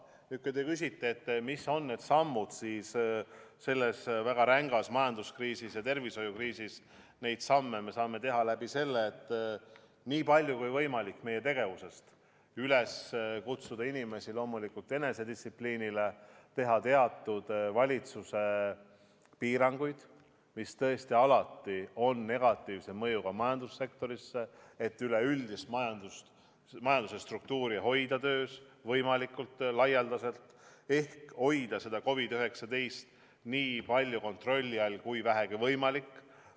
Nüüd, kui te küsite, et mis on need sammud, siis selles väga rängas majanduskriisis ja tervishoiukriisis me saame neid samme teha nii, et kutsuda inimesi üles enesedistsipliinile, teha teatud valitsuse piiranguid, mis tõesti alati on negatiivse mõjuga majandussektorile, aga seda on vaja, et üleüldist majandust, majanduse struktuuri hoida töös võimalikult laialdaselt ehk hoida COVID-19 nii palju kontrolli all, kui vähegi võimalik.